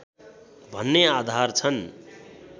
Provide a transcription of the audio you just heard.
भन्ने आधार छन्।